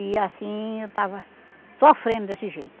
E assim, eu estava sofrendo desse jeito.